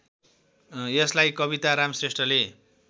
यसलाई कविताराम श्रेष्ठले